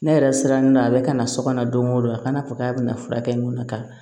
Ne yɛrɛ sirannen do a bɛ ka na sokɔnɔ don go don a kana fɔ k'a bɛna furakɛ n na ka